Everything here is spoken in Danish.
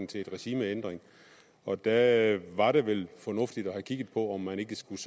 til en regimeændring og da var det vel fornuftigt at have kigget på om man ikke skulle